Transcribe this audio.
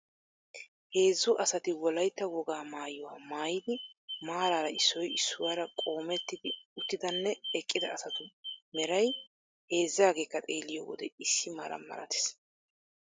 Heezzu asati wolaytta wogaa maayuwa maayidi maaraara issoy issuwara qoomettidi uttidanne eqqida asatu meray heezzaageekka xeelliyo wode issi mala malatees.